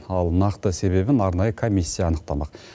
ал нақты себебін арнайы комиссия анықтамақ